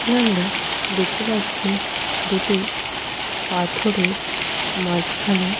এখানে আমরা দেখতে পাচ্ছি দুটি পাথরের মাঝখানে।